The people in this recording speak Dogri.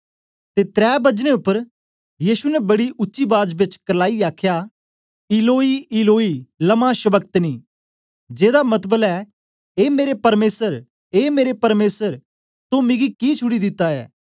ते त्रै बजने उपर यीशु ने बड़ी उच्ची बाज बेच करलाईयै आखया इलोई इलोई लमा शबक्तनी जेदा मतबल ऐ ए मेरे परमेसर ए मेरे परमेसर तो मिगी कि छुड़ी दिता ऐ